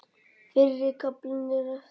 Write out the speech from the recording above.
Fyrri kaflinn er eftir